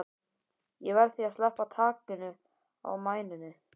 Ég verð því að sleppa takinu á mæninum.